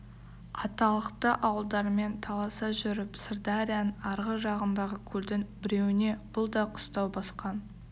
аталықты ауылдармен таласа жүріп сырдарияның арғы жағындағы көлдің біреуіне бұл да қыстау басқан